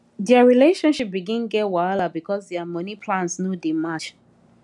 their relationship begin get wahala because their money plans no dey match